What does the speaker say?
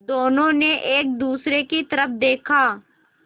दोनों ने एक दूसरे की तरफ़ देखा